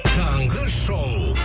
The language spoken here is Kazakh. таңғы шоу